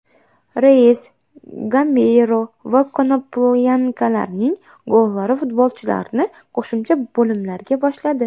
Reyes, Gameyro va Konoplyankalarning gollari futbolchilarni qo‘shimcha bo‘limlarga boshladi.